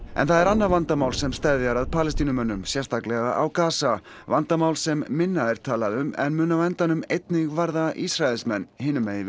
en það er annað vandamál sem steðjar að Palestínumönnum sérstaklega á vandamál sem minna er talað um en mun á endanum einnig varða Ísraelsmenn hinum megin við